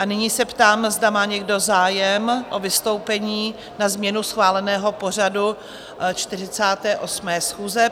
A nyní se ptám, zda má někdo zájem o vystoupení na změnu schváleného pořadu 48. schůze.